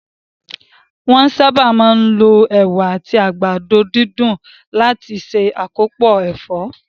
Wón sáábà máa ń lo Ẹ̀wà àti àgbàdo dídùn láti se akopo ẹ̀fọ́